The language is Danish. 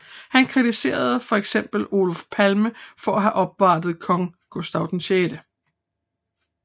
Han kritiserede for eksempel Olof Palme for at have opvartet kong Gustav 6